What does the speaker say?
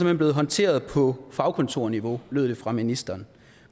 hen blevet håndteret på fagkontorniveau lød det fra ministeren